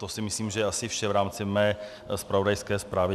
To si myslím, že je asi vše v rámci mé zpravodajské zprávy.